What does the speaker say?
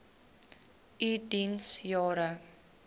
u diens jare